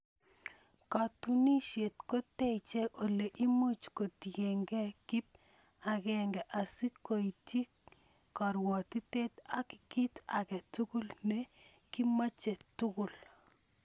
kotunisiet koteechei ole imuuch ketuiyegeei kip agenge asi keityii korwotitaet ak kiit age tugul ne kimoche tugul.